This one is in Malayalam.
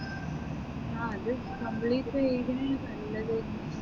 ആ complete ചെയ്തിനെൽ നല്ലത്